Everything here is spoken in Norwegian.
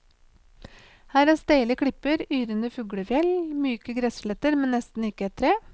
Her er steile klipper, yrende fuglefjell, myke gressletter, men nesten ikke et tre.